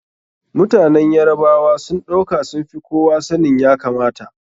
Mutanen Yarabawa sun ɗauka sun fi kowa sanin ya kamata.